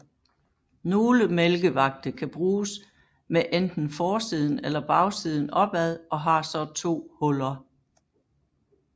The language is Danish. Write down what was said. Nogle mælkevagte kan bruges med enten forsiden eller bagsiden opad og har så to huller